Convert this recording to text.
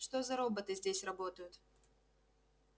что за роботы здесь работают